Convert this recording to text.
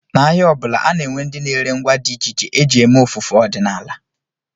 N'ahịa ọ bụla, a na-enwe ndị na-ere ngwa dị iche iche e ji eme ofufe ọdịnala